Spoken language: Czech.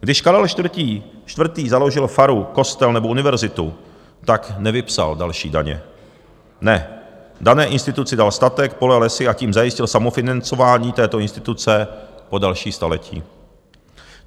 Když Karel IV. založil faru, kostel nebo univerzitu, tak nevypsal další daně, ne, dané instituci dal statek, pole, lesy a tím zajistil samofinancování této instituce po další staletí.